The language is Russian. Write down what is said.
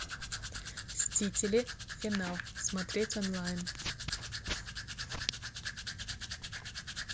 мстители финал смотреть онлайн